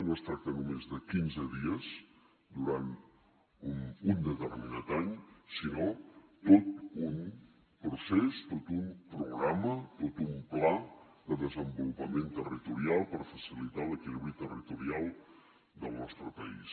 no es tracta només de quinze dies durant un determinat any sinó de tot un procés tot un programa tot un pla de desenvolupament territorial per facilitar l’equilibri territorial del nostre país